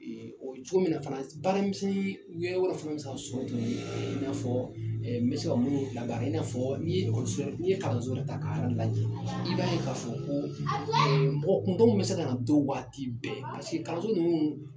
O cogo min na fana baara misɛnnin wɛrɛw bɛ se ka sɔrɔ tuguni i n'a fɔ n bɛ se ka minnu labaara i n'a fɔ n'i ye kalanso yɛrɛ ta k'a lajɛ i b'a ye k'a fɔ ko mɔgɔ kuntanw bɛ se ka na don waati bɛɛ kalanso ninnu